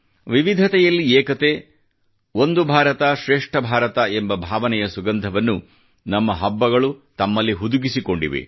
ವಿವಿಧತೆಯಲ್ಲಿ ಏಕತೆ ಒಂದು ಭಾರತ ಶ್ರೇಷ್ಠ ಭಾರತ ಎಂಬ ಭಾವನೆಯ ಸುಗಂಧವನ್ನು ನಮ್ಮ ಹಬ್ಬಗಳು ತಮ್ಮಲ್ಲಿ ಹುದುಗಿಸಿಕೊಂಡಿವೆ